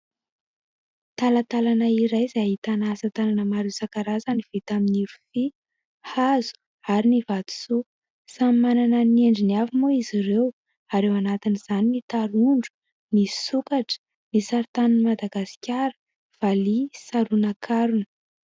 Talantalana iray izay ahitana asa tanana maro isan-karazany vita amin'ny rofia, hazo ary ny vatosoa. Samy manana ny endriny avy moa izy ireo ary ao anatiny izany ny tarondro, ny sokatra, ny sarintanin'i Madagasikara, valiha, saronankarona.